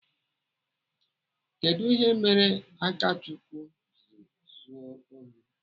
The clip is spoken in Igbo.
Kedụ ihe merenụ Akachukwu jiri zuo ohi?